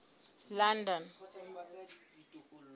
london